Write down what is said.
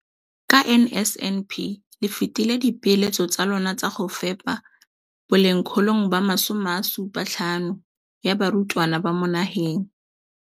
Ka NSNP le fetile dipeelo tsa lona tsa go fepa masome a supa le botlhano a diperesente ya barutwana ba mo nageng.